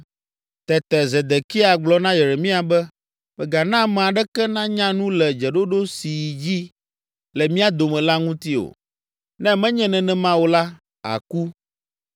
Tete Zedekia gblɔ na Yeremia be, “Mègana ame aɖeke nanya nu le dzeɖoɖo si yi edzi le mía dome la ŋuti o, ne menye nenema o la, àku.